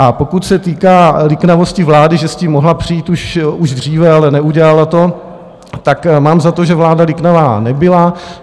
A pokud se týká liknavosti vlády, že s tím mohla přijít už dříve, ale neudělala to, tak mám za to, že vláda liknavá nebyla.